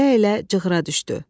Əyilə-əyilə cığıra düşdü.